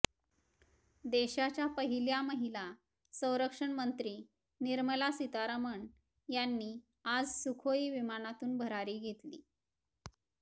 देशाच्या पहिल्या महिला संरक्षण मंत्री निर्मला सीतारमण यांनी आज सुखोई विमानातून भरारी घेतली